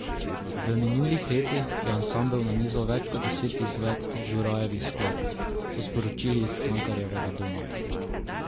V minulih letih je ansambel nanizal več kot deset izvedb Žurajevih skladb, so sporočili iz Cankarjevega doma.